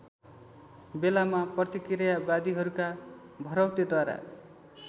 बेलामा प्रतिक्रियावादीहरूका भरौटेद्वारा